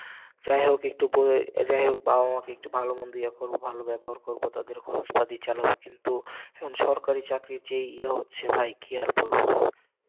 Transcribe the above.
যাই হোক একটু পরে, যাই হোক বাবা মা কে একটু ভালো মন্দ ইয়ে করবো, ভালো ব্যবহার করবো, তাদের খরচপাতি চালাবো, কিন্তু সরকারি চাকরির যে ইয়ে হচ্ছে ভাই, কি আর বলবো,